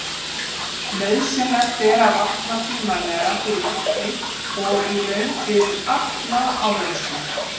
Nauðsynlegt er að vakna tímanlega fyrir keppni og í raun fyrir alla áreynslu.